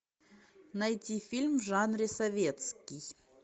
найти фильм в жанре советский